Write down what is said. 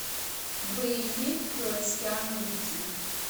боевик с киану ривзом